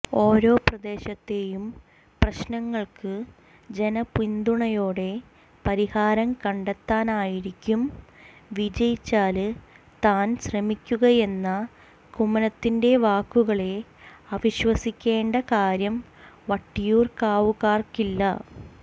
ഓരോ പ്രദേശത്തെയും പ്രശ്നങ്ങള്ക്ക് ജനപിന്തുണയോടെ പരിഹാരം കണ്ടെത്താനായിരിക്കും വിജയിച്ചാല് താന് ശ്രമിക്കുകയെന്ന കുമ്മനത്തി്ന്റെ വാക്കുകളെ അവിശ്വസിക്കേണ്ട കാര്യം വട്ടിയൂര്ക്കാവുകാര്ക്കില്ല